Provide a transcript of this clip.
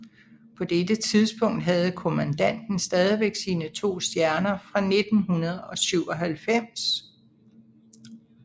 På dette tidspunkt havde Kommandanten stadigvæk sine to stjerner fra 1997